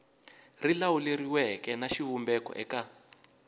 ri lawuleriweke na xivumbeko eka